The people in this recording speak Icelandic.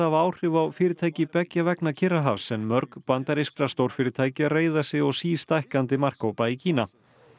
hafa áhrif á fyrirtæki beggja vegna Kyrrahafs en mörg bandarískra stórfyrirtækja reiða sig á sístækkandi markhópa í Kína